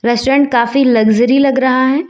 Restaurant काफी luxury लग रहा है।